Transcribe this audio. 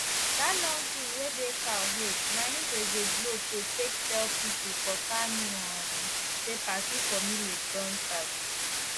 dat long thing wey dey cow head na im dey go blow to take tell pipo for kano um say party for millet don start